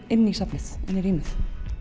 inn í safnið inn í rýmið